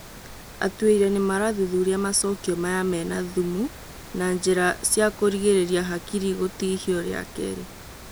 Atuĩria nĩmarathuthuria macokio maya mena thumu na njĩra cia kũrigĩrĩria hakiri gũtihio rĩa kerĩ